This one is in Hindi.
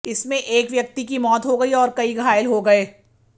इसमें एक व्यक्ति की मौत हो गई और कई घायल हो गए